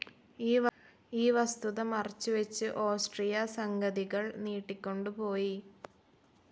ഈ വസ്തുത മറച്ചു വെച്ച് ഓസ്ട്രിയ സംഗതികൾ നീട്ടിക്കൊണ്ടു പോയി,,.